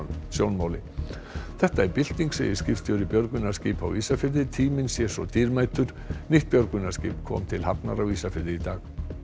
sjónmáli þetta er bylting segir skipstjóri björgunarskipa á Ísafirði tíminn sé svo dýrmætur nýtt björgunarskip kom til hafnar á Ísafirði í dag